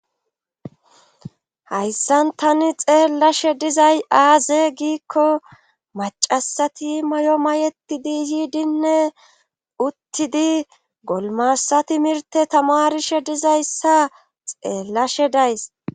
Haysan tani xellashe dizay aze gikko ma Ashanti mayo mayetidi yidine uttidi golimasa timirte tamarishe dizaysa xellashe dayssi